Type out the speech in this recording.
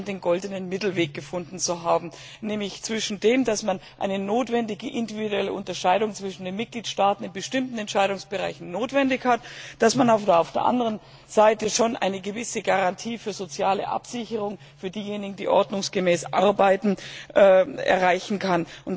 Sie scheint den goldenen Mittelweg gefunden zu haben, nämlich zwischen dem, dass man eine notwendige, individuelle Unterscheidung zwischen den Mitgliedstaaten in bestimmten Entscheidungsbereichen hat und dem, dass man auf der anderen Seite schon eine gewisse Garantie für soziale Absicherung für diejenigen, die ordnungsgemäß arbeiten, erreichen kann.